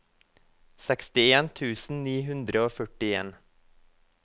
sekstien tusen ni hundre og førtien